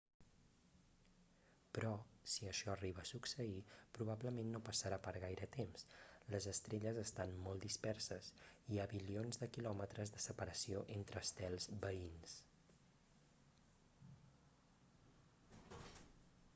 però si això arriba a succeir probablement no passarà per gaire temps les estrelles estan molt disperses hi ha bilions de quilòmetres de separació entre estels veïns